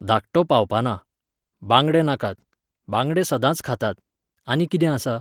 धाकटो पावपाना. बांगडे नाकात. बांगडे सदांच खातात. आानी कितें आसा?